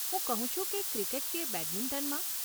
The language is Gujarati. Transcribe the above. હું કહું છું કે ક્રિકેટ કે બેડમિંટનમાં?